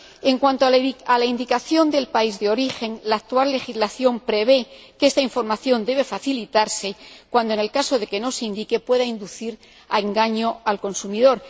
En cuanto a la indicación del país de origen, la actual legislación prevé que esta información debe facilitarse cuando, en el caso de que no se indique, pueda inducir a engaño al consumidor.